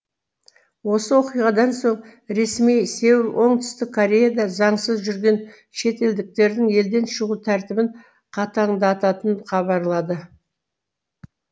осы оқиғадан соң ресми сеул оңтүстік кореяда заңсыз жүрген шетелдіктердің елден шығу тәртібін қатаңдататын хабарлады